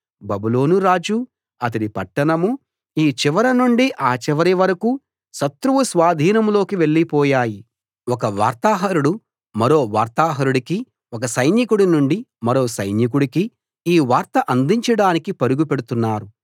బబులోను రాజూ అతడి పట్టణమూ ఈ చివర నుండి ఆ చివరి వరకూ శత్రువు స్వాధీనంలోకి వెళ్లి పోయాయి ఒక వార్తాహరుడు మరో వార్తాహరుడికీ ఒక సైనికుడి నుండి మరో సైనికుడికీ ఈ వార్త అందించడానికి పరుగు పెడుతున్నారు